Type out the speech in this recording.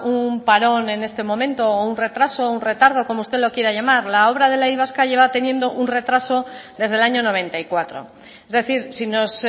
un parón en este momento o un retraso o un retardo como usted lo quiera llamar la obra de la y vasca lleva teniendo un retraso desde el año noventa y cuatro es decir si nos